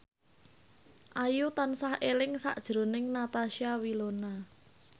Ayu tansah eling sakjroning Natasha Wilona